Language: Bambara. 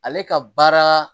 Ale ka baara